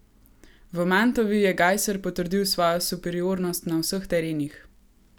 V Mantovi je Gajser potrdil svojo superiornost na vseh terenih.